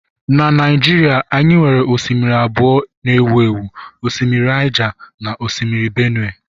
Na Naijiria anyị nwere osimiri abụọ ewu ewu, osimiri Niger na osimiri Benue